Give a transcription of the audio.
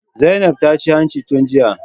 Zainab ta ce hanci tun jiya